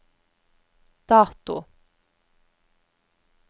dato